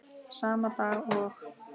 Sama dag og